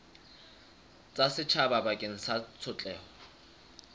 tsa setjhaba bakeng sa tshotleho